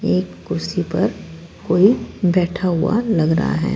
एक कुर्सी पर कोई बैठा हुआ लग रहा है।